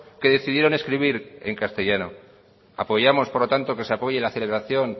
que decidieron escribir en castellano apoyamos por lo tanto que se apoye la celebración